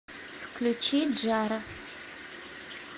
включи джаро